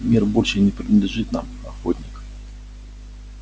мир больше не принадлежит нам охотник